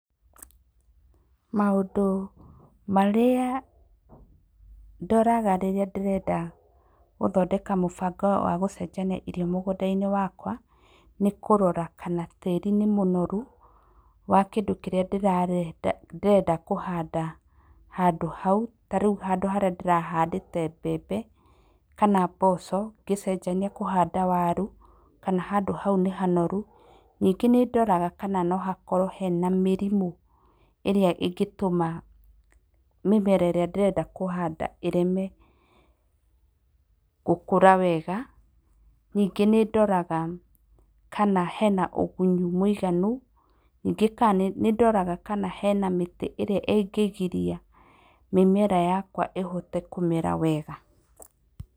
Maũndũ marĩa, ndoraga rĩrĩa ndĩrenda gũthondeka mũbango wa gũcenjania irio mũgũnda-inĩ wakwa, nĩ kũrora kana tĩri nĩ mũnoru, wa kĩndũ kĩrĩa ndĩra ndĩrenda kũhanda handũ hau, ta rĩu handũ harĩa ndĩrahandĩte mbembe, kana mboco ngĩcenjania kũhanda waru, kana handũ hau nĩ hanoru, nyingĩ nĩ ndoraga kana no hakorwo hena mĩrimũ ĩrĩa ĩngĩtũma mĩmera ĩrĩa ndĩrenda kũhanda ĩreme, gũkũra wega, nyingĩ nĩ ndoraga kana hena ũgunyu mwĩiganu, nyingĩ ka nĩ ndoraga kana hena mĩtĩ ĩrĩa ĩngĩgiria mĩmera yakwa ĩhote kũmera wega.